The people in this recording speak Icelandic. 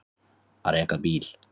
Að reka bíl